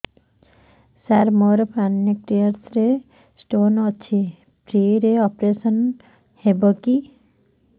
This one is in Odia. ସାର ମୋର ପାନକ୍ରିଆସ ରେ ସ୍ଟୋନ ଅଛି ଫ୍ରି ରେ ଅପେରସନ ହେବ କି